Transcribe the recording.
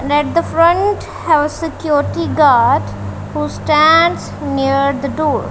net the front have a security guard who stands near the door.